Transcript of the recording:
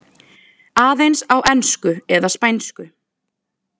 Aðeins á ensku eða spænsku.